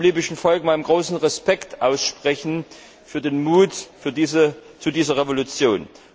Ich möchte dem libyschen Volk meinen großen Respekt aussprechen für den Mut zu dieser Revolution.